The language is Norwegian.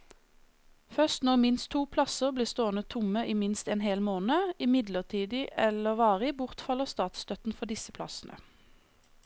Først når minst to plasser blir stående tomme i minst en hel måned, midlertidig eller varig, bortfaller statsstøtten for disse plassene.